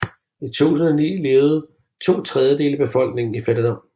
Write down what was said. I 2009 levede to tredjedele af befolkningen i fattigdom